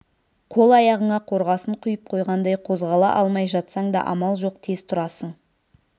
қол-аяғыңа қорғасын құйып қойғандай қозғала алмай жатсаң да амал жоқ тез тұрасың